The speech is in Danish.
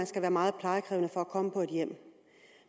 skal være meget plejekrævende for at komme på et hjem